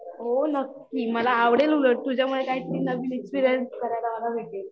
हो नक्की मला आवडेल उलट तुझ्यामुळे काहीतरी नवीन एक्सपीरियंस करायला मला भेटेल